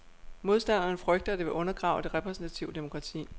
Modstanderne frygter, at det vil undergrave det repræsentative demokrati.